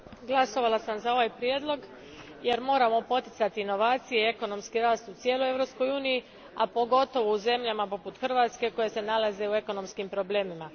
Gospođo predsjednice, glasovala sam za ovaj prijedlog jer moramo poticati inovacije i ekonomski rast u cijeloj Europskoj uniji, a pogotovo u zemljama poput Hrvatske koje se nalaze u ekonomskim problemima.